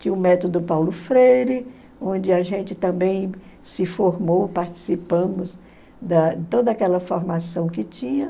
Tinha o método Paulo Freire, onde a gente também se formou, participamos da toda aquela formação que tinha.